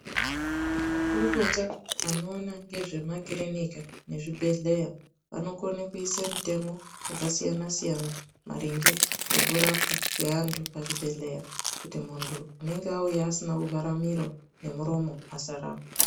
Makurukota anoona ngezvemakirinika nezvibhedhleya vanokone kuise mitemo yakasiyana siyana maringe ngekurapwa kweantu pazvibhedhleya kuti muntu unenge auya asina kuvhara miro nemuromo asarapwa.